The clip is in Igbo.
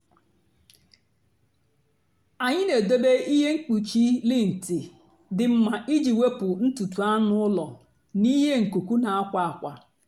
ànyị́ na-èdòbé ihe mkpùchì lìnt dị́ mma ìjì wèpụ́ ntùtù ànụ́ ụ́lọ́ n'íhé nkùkù na àkwà àkwà.